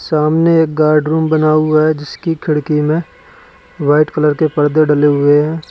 सामने एक गार्ड बना हुआ है जिसकी खिड़की में वाइट कलर के पर्दे डले हुए हैं।